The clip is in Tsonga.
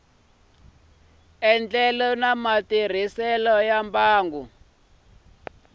enela bya matirhiselo ya mimbangu